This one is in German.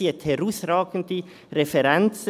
Sie hat herausragende Referenzen.